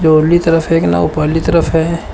तरफ एक नाव पहली तरफ है।